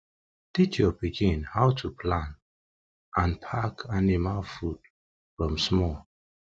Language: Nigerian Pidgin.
teach your pikin how to plan and pack anima food from small